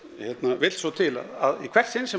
vill svo til að í hvert sinn sem